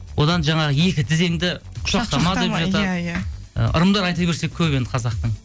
одан жаңағы екі тізеңді құшақтама деп жатады иә иә ы ырымдар айта берсек көп енді қазақтың